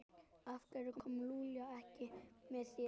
Af hverju kom Lúlli ekki með þér?